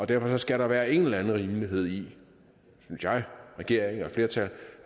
derfor skal der være en eller anden rimelighed i synes jeg regeringen og et flertal